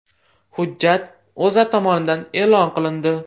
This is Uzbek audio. Hujjat O‘zA tomonidan e’lon qilindi .